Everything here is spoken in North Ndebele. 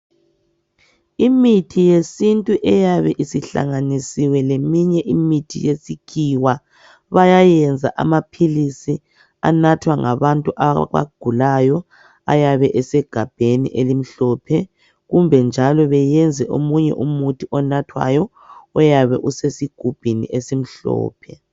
Imithi yesintu eyabe isihlanganisiwe leminye imithi yesikhiwa bayayenza amaphilisi anathwa ngabantu abagulayo ayabe esegabheni elimhlophe kumbe njalo beyenze omunye umuthi onathwayo oyabe usesigubhini esimhlophe